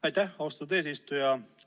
Aitäh, austatud eesistuja!